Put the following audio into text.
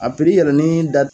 A piri yɛrɛ ni da